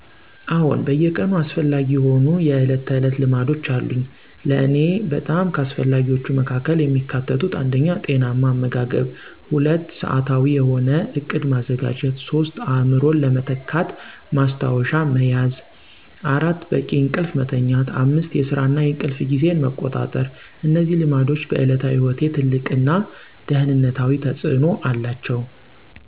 አዎን በየቀኑ አስፈላጊ የሆኑ የዕለት ተዕለት ልማዶች አሉኝ። ለእኔ በጣም ከአስፈላጊዎቹ መካከል የሚካተቱት 1. ጤናማ አመጋገብ 2. ሰዓታዊ የሆነ ዕቅድ ማዘጋጀት 3. አእምሮን ለመተካት ማስታወሻ መያዝ 4. በቂ እንቅልፍ መተኛት 5. የስራ እና የእንቅልፍ ጊዜን መቆጣጠር እነዚህ ልማዶች በዕለታዊ ሕይወቴ ትልቅ እና ደህንነታዊ ተፅእኖ አላቸው።